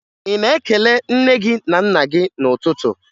Ị na-ekele nne gị na nna gị n'ụtụtụ?